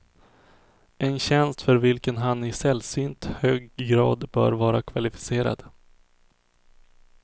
En tjänst för vilken han i sällsynt hög grad bör vara kvalificerad.